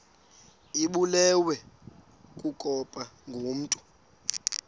ibulewe kukopha ngokomntu